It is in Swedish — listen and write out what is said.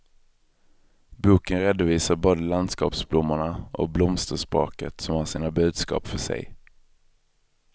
Boken redovisar både landskapsblommorna och blomsterspråket, som har sina budskap för sig.